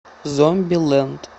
зомбилэнд